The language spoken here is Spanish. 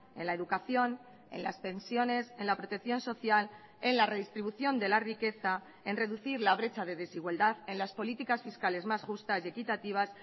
en la educación en las pensiones enla protección social en la redistribución de la riqueza en reducir la brecha de desigualdad en las políticas fiscales más justas y equitativas